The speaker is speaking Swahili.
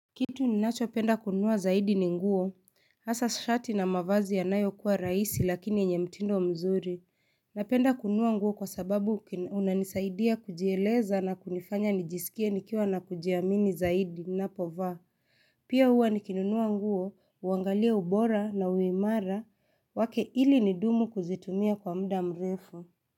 Kitu ninachopenda kununua zaidi ni nguo, hasa shati na mavazi yanayokuwa rahisi lakini yenye mtindo mzuri, napenda kununua nguo kwa sababu unanisaidia kujieleza na kunifanya nijisikie nikiwa na kujiamini zaidi ninapovaa, pia huwa nikinunua nguo, huangalia ubora na uimara, wake ili nidumu kuzitumia kwa muda mrefu.